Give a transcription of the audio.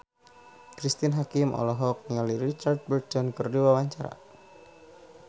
Cristine Hakim olohok ningali Richard Burton keur diwawancara